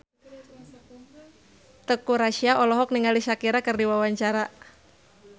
Teuku Rassya olohok ningali Shakira keur diwawancara